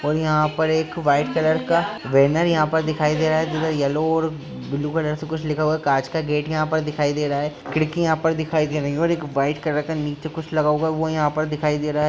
और यहाँ पर एक व्हाइट कलर का बैनर यहा पर दिखाई दे रहा है। येलो और ब्लू कलर से कुछ लिखा हुवा है। कांच का गेट यहा पर दिखाई दे रहा है। खिड़की यहाँ पर दिखाई दे रही है। और एक व्हाइट कलर का नीचे कुछ लगा हुवा है। यहाँ पर दिखाई दे रहा है।